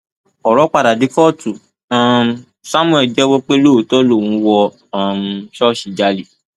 ọrọ padà dé kóòtù um samuel jẹwọ pé lóòótọ lòun wọ um ṣọọṣì jálẹ